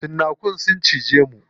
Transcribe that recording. Cinnakun sun ciccije mu.